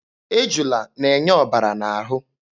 Ejula na-enye ọbara n'ahụ.